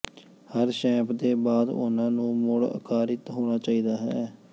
ਹਰ shampoo ਦੇ ਬਾਅਦ ਉਹਨਾਂ ਨੂੰ ਮੁੜ ਅਕਾਰਿਤ ਹੋਣਾ ਚਾਹੀਦਾ ਹੈ